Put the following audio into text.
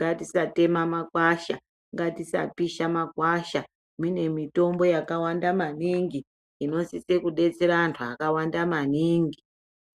ngatisatema makwasha ngatisa pisha makwasha mune mitombo yakawanda maningi inosise kudetsera antu akawanda maningi.